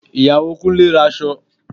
Ìyàwó Kúnlé ra aṣọ